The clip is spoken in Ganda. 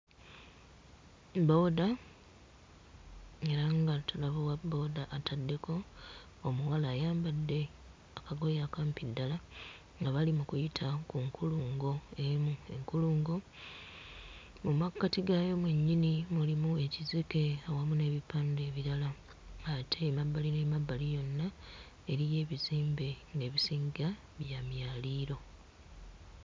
Boda era nga tulaba owaboda ataddeko omuwala ayambadde akagoye akampi ddala nga bali mu kuyita ku nkulungo emu, enkulungo mu mmakati gaayo mwennyini mulimu ekizike awamu n'ebipande ebirala ate emabbali n'emabbali yonna eriyo ebizimbe ng'ebisinga bya myaliiro.